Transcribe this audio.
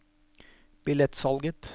billettsalget